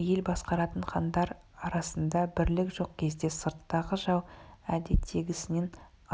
ел басқаратын хандар арасында бірлік жоқ кезде сырттағы жау әдеттегісінен